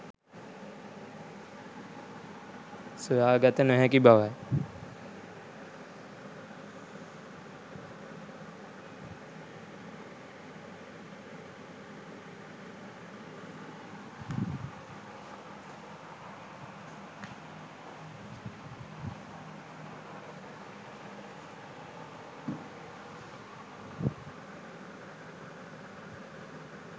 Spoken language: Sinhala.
සොයාගත නොහැකි බවයි.